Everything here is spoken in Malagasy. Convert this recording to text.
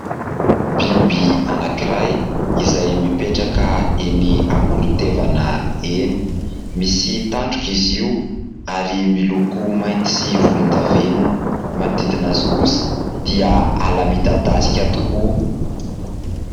Biby anankiray izay mipetraka eny amoron-tevana eny. Misy tandroka izy io ary miloko mainty sy volondavenona ; manodidina azy kosa dia ala midadasika tokoa.